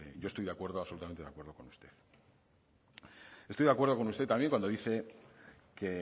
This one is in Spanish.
yo estoy absolutamente de acuerdo con usted estoy de acuerdo con usted también cuando dice que